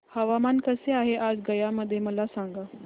हवामान कसे आहे आज गया मध्ये मला सांगा